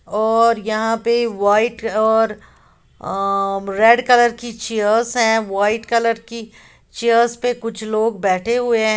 और यहां पे वाइट और अअ रेड कलर की चीयर्स है वाइट कलर की चेयर्स पे कुछ लोग बैठे हुए हैं।